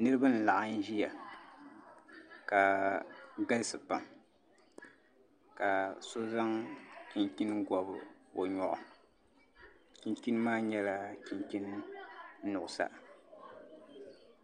Niraba n laɣam ʒiya ka galisi pam ka so zaŋ chinchin gobi o nyoɣu chinchin maa nyɛla chinchin nuɣsa